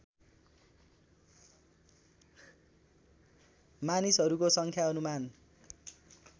मानिसहरूको सङ्ख्या अनुमान